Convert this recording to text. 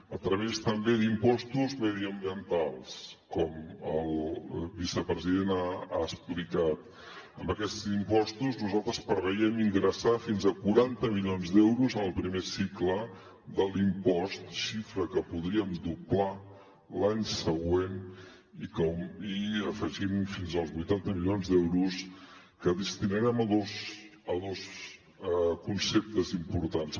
a través també d’impostos mediambientals com el vicepresident ha explicat amb aquests impostos nosaltres preveiem ingressar fins a quaranta milions d’euros en el primer cicle de l’impost xifra que podríem doblar l’any següent i afegir fins als vuitanta milions d’euros que destinarem a dos conceptes importants